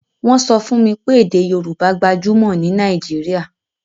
Wọ́n sọ fún mi pé èdè Yorùbá gbajúmọ̀ ní Nàìjíríà